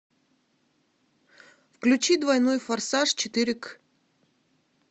включи двойной форсаж четыре к